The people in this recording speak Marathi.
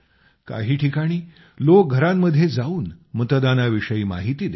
काही ठिकाणी लोक घरांघरांमध्ये जावून मतदानाविषयी माहिती देत आहेत